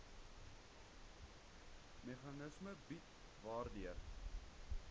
meganisme bied waardeur